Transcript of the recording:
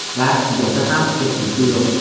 dars tugasa ham ketgisi yo‘q.